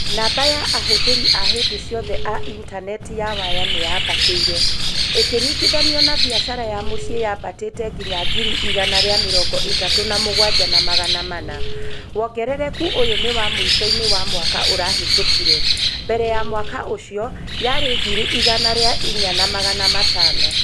Namba ya ahũthĩri a hĩndĩ ciothe a intaneti ya waya nĩ yaambatĩire. ĩkiringithanio na biashara ya mũcĩĩ yaambatĩte nginya ngiri igana ria mĩrongo itatũ na mũgwanja na magana mana. wongerereku ũyũ nĩ wa mũico-inĩ wa mwaka ũrahetokire. Mbere ya mwaka ũcio, yari ngiri igana ria inya na magana matano.